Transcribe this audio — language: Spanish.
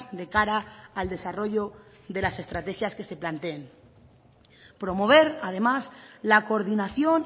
de cara al desarrollo de las estrategias que se planteen promover además la coordinación